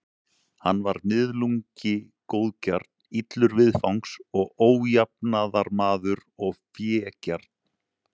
Hann var miðlungi góðgjarn, illur viðfangs og ójafnaðarmaður og fégjarn.